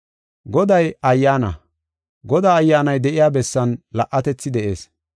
Goday Ayyaana; Godaa Ayyaanay de7iya bessan la77atethi de7ees.